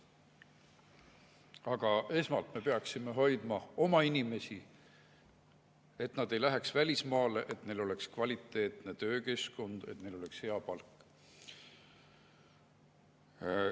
Aga esmalt me peaksime hoidma oma inimesi, et nad ei läheks välismaale, et neil oleks kvaliteetne töökeskkond, et neil oleks hea palk.